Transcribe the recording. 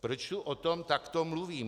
Proč tu o tom takto mluvím?